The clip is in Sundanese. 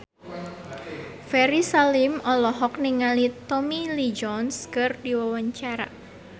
Ferry Salim olohok ningali Tommy Lee Jones keur diwawancara